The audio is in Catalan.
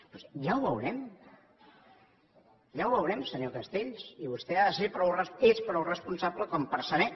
doncs ja ho veurem ja ho veurem senyor castells i vostè ha de ser és prou responsable per saber